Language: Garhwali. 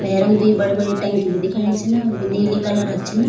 भैरम द्वि बड़ी-बड़ी टंकी भी दिखेणी छिन बी नीली कलर क छिन।